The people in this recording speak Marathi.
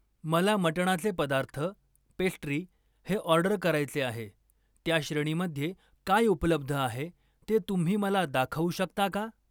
मला मटणाचे पदार्थ, पेस्ट्री हे ऑर्डर करायचे आहे, त्या श्रेणीमध्ये काय उपलब्ध आहे ते तुम्ही मला दाखवू शकता का?